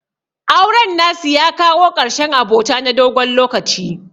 Auren nasu ya kawo ƙarshen abota na dogon lokaci.